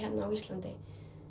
á Íslandi